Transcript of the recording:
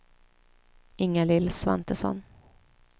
Ingalill Svantesson